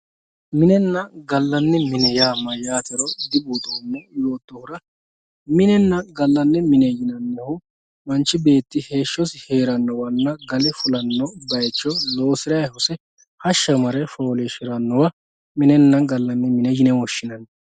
Minenna gaanni mine yaa mayyaatero dibuuxoommo yoottohura minenna gallanni mine yinannihu manchi beetti heeshshosi heerannowanna gale fulanno baycho loosirayi hose hashsha mare fooliishshirannowa minenna gallanni mine yine woshshinanni